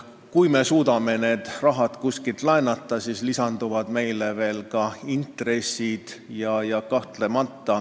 Kui me suudame selle raha kuskilt laenata, siis lisanduvad veel intressid.